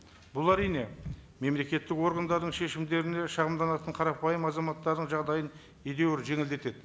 бұл әрине мемлекеттік органдардың шешімдеріне шағымданатын қарапайым азаматтардың жағдайын едәуір жеңілдетеді